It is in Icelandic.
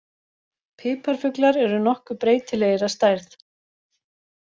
Piparfuglar eru nokkuð breytilegir að stærð.